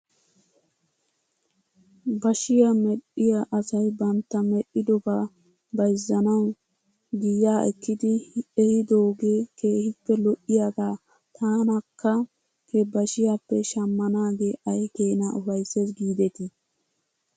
Bashiyaa medhdhiyaa asay bantta medhdhidobaa bayzzanaw giyaa ekkidi ehidoogee keehippe lo'iyaagaa tanakka he bashiyaappe shamanaagee ay keenaa ufaysses giidetii ?